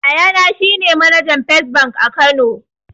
Yayana shine manajan fes bank a kano